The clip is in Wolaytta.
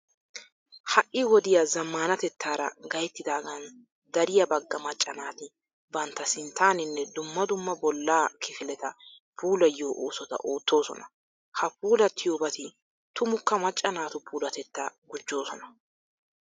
Ha"i wodiya zammaanatettaara gayttidaagan dariya bagga macca naati bantta sinttaaninne dumma Dumma bollaa kifileta puulayiyo oosota oottoosona. Ha puulattiyobati tumukka macca naatu puulatettaa gujjoosona.